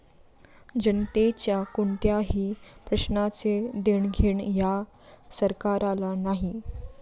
जनतेच्या कोणत्याही प्रश्नाचे देणघेण या सरकारला नाही.